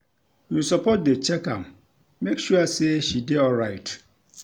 You suppose dey check am, make sure sey she dey alright.